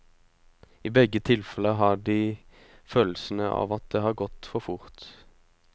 I begge tilfeller har de følelsen av at det har gått for fort.